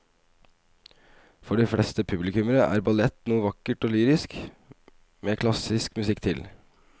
For de fleste publikummere er ballett noe vakkert og lyrisk med klassisk musikk til.